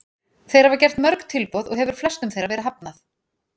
Þeir hafa gert mörg tilboð og hefur flestum þeirra verið hafnað.